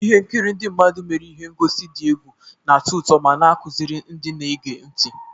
Ihe nkiri ndị mmadụ mere ihe ngosi dị egwu, na-atọ ụtọ ma na-akụziri ndị na-ege ntị.